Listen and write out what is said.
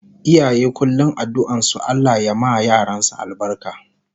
Iyaye kullum addu'an su Allah ya ma yaransu albarka